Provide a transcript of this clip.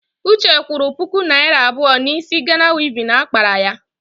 Uche kwụrụ puku naịra abụọ n'ísí Gana wivin akpara ya.